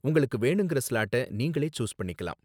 உங்களுக்கு வேணுங்கற ஸ்லாட்ட நீங்களே சூஸ் பண்ணிக்கலாம்